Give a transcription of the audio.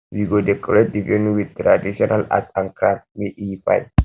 we go decorate di venue with traditional art and crafts make e fine